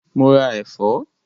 Mo ra ẹ̀fọ́?